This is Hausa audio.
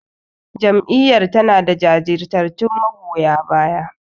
Jam'iyyar tanada jajirtattun magoya baya.